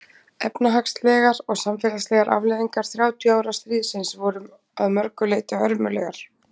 efnahagslegar og samfélagslegar afleiðingar þrjátíu ára stríðsins voru að mörgu leyti hörmulegar